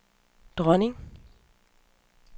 dronning